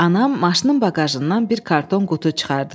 Anam maşının baqajından bir karton qutu çıxardı.